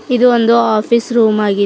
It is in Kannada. ಇದು ಒಂದು ಆಫೀಸ್ ರೂಮ್ ಆಗಿ--